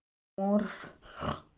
морф